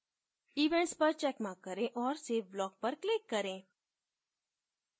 events पर checkmark करें और save block पर click करें